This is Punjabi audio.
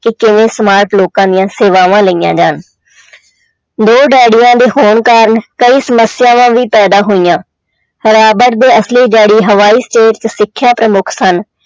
ਕਿ ਕਿਵੇਂ smart ਲੋਕਾਂ ਦੀਆਂ ਸੇਵਾਵਾਂ ਲਈਆਂ ਜਾਣ ਦੋ ਡੈਡੀਆਂ ਦੇ ਹੋਣ ਕਾਰਨ ਕਈ ਸਮੱਸਿਆਵਾਂ ਵੀ ਪੈਦਾ ਹੋਈਆਂ, ਰਾਬਟ ਦੇ ਅਸਲੀ ਡੈਡੀ ਹਵਾਈ state 'ਚ ਸਿੱਖਿਆ ਪ੍ਰਮੁੱਖ ਸਨ।